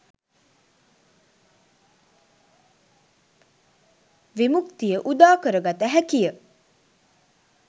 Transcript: විමුක්තිය උදාකරගත හැකි ය.